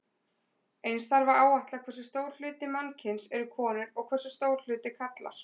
Eins þarf að áætla hversu stór hluti mannkyns eru konur og hversu stór hluti karlar.